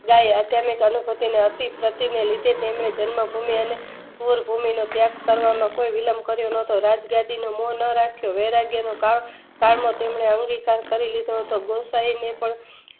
ડાય અચનય અનુભૂતિનો અતિસર્ટીને લીધે તેમણે જન્મ ભૂમિ અને સૌરભૂમિનો ત્યાગ કરવામો કોઈ વિલમ્બ કર્યો ન હતો રાજ ગાડીનો મોહ ન રાખિયો વૈરાગ્યનું કામ અવિરિક કરી લીધો હતો ગોયસાયે પણ